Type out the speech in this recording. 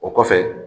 O kɔfɛ